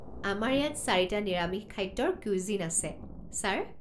আমাৰ ইয়াত চাৰিটা নিৰামিষ খাদ্যৰ কুইজিন আছে ছাৰ।